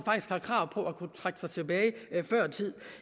har krav på at kunne trække sig tilbage før tid